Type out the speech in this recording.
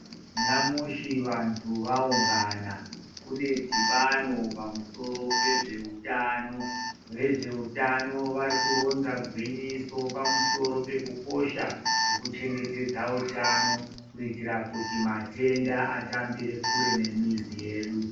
Nyamushi vantu vaunga kuneshibano pamusoro pe zveutano vezveutano vari kuronza gwinyiso pamusoro pekukosha pekuchengetedza utano kuitira kuti matenda atambire kure nemizi yedu.